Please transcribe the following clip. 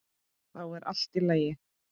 Þá er allt í lagi.